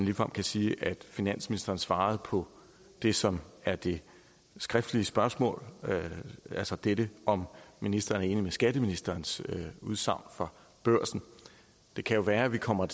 ligefrem kan sige at finansministeren svarede på det som er det skriftlige spørgsmål altså det det om ministeren er enig i skatteministerens udsagn fra børsen det kan jo være vi kommer